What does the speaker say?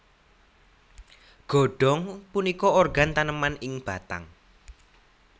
Godong punika organ taneman ing batang